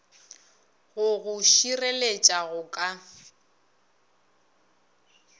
go go šireletša go ka